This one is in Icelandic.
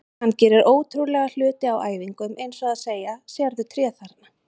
Hann gerir ótrúlega hluti á æfingum eins og að segja: Sérðu tréð þarna?